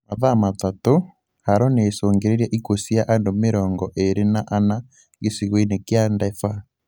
Mathaa matatũ, Haro nĩicũngĩrĩirie ikuũ cia andũ mĩrongo ĩrĩ na ana, gĩcigo-inĩ kia Daefur